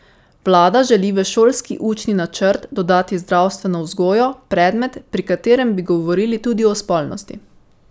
Vlada želi v šolski učni načrt dodati zdravstveno vzgojo, predmet, pri katerem bi govorili tudi o spolnosti.